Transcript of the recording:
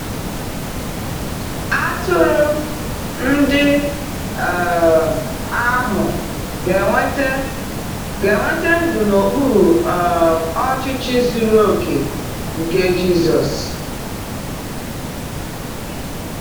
Atụrụ ndị um ahụ ga-enweta ga-enweta ndụ n’okpuru um ọchịchị zuru oke nke Jisọs.